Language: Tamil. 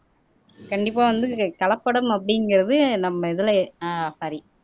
கண்டிப்பா வந்து கலப்படம் அப்படிங்கிறது நம்ம இதுல ஆஹ் சாரி